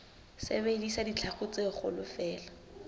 sebedisa ditlhaku tse kgolo feela